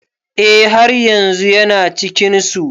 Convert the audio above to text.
Eh haryanzun Yana cikin su.